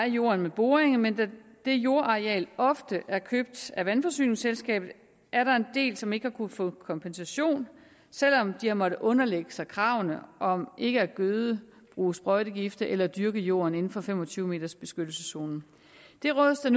jorden ved boringerne men da det jordareal ofte er købt af vandforsyningsselskabet er der en del som ikke har kunnet få kompensation selv om de har måttet underlægge sig kravene om ikke at gøde bruge sprøjtegifte eller dyrke jorden inden for fem og tyve meters beskyttelseszonen det rådes der